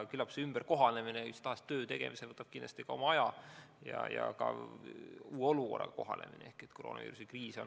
Küllap mis tahes töö tegemisel võtab oma aja ka uue olukorraga kohanemine.